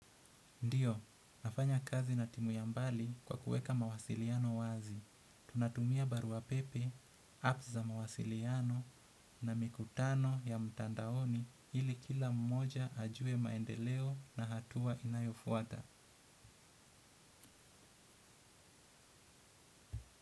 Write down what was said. Ndiyo, nafanya kazi na timu ya mbali kwa kuweka mawasiliano wazi. Tunatumia barua pepe, apps za mawasiliano na mikutano ya mtandaoni ili kila mmoja ajue maendeleo na hatua inayofuata.